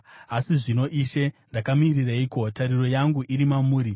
“Asi zvino, Ishe, ndakamirireiko? Tariro yangu iri mamuri.